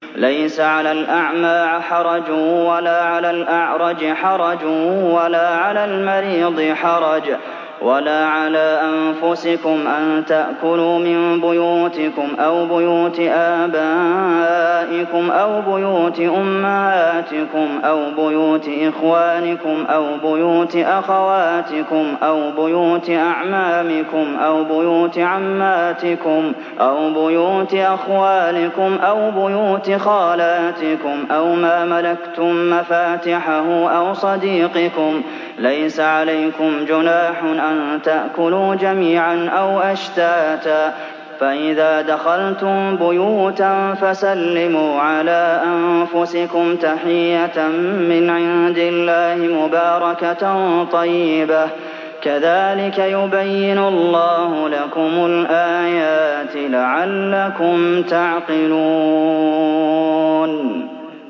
لَّيْسَ عَلَى الْأَعْمَىٰ حَرَجٌ وَلَا عَلَى الْأَعْرَجِ حَرَجٌ وَلَا عَلَى الْمَرِيضِ حَرَجٌ وَلَا عَلَىٰ أَنفُسِكُمْ أَن تَأْكُلُوا مِن بُيُوتِكُمْ أَوْ بُيُوتِ آبَائِكُمْ أَوْ بُيُوتِ أُمَّهَاتِكُمْ أَوْ بُيُوتِ إِخْوَانِكُمْ أَوْ بُيُوتِ أَخَوَاتِكُمْ أَوْ بُيُوتِ أَعْمَامِكُمْ أَوْ بُيُوتِ عَمَّاتِكُمْ أَوْ بُيُوتِ أَخْوَالِكُمْ أَوْ بُيُوتِ خَالَاتِكُمْ أَوْ مَا مَلَكْتُم مَّفَاتِحَهُ أَوْ صَدِيقِكُمْ ۚ لَيْسَ عَلَيْكُمْ جُنَاحٌ أَن تَأْكُلُوا جَمِيعًا أَوْ أَشْتَاتًا ۚ فَإِذَا دَخَلْتُم بُيُوتًا فَسَلِّمُوا عَلَىٰ أَنفُسِكُمْ تَحِيَّةً مِّنْ عِندِ اللَّهِ مُبَارَكَةً طَيِّبَةً ۚ كَذَٰلِكَ يُبَيِّنُ اللَّهُ لَكُمُ الْآيَاتِ لَعَلَّكُمْ تَعْقِلُونَ